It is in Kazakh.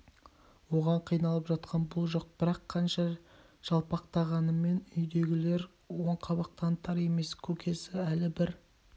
оған қиналып жатқан бұл жоқ бірақ қанша жалпақтағанымен үйдегілер оң қабақ танытар емес көкесі әлі бір